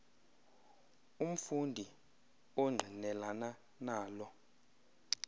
umfundi ongqinelana nalo